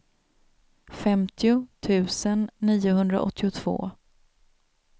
femtio tusen niohundraåttiotvå